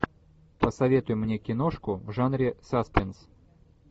посоветуй мне киношку в жанре саспенс